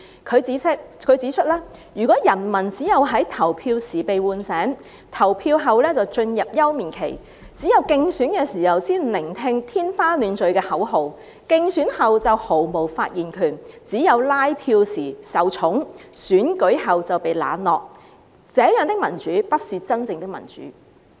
他指出，如果人民只有在投票時被喚醒，投票後便進入休眠期；只有競選的時候才聆聽天花亂墜的口號，競選後就毫無發言權；只有拉票時受寵，選舉後就被冷落，這樣的民主不是真正的民主。